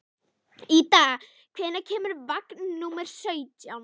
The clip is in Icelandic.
Ída, hvenær kemur vagn númer sautján?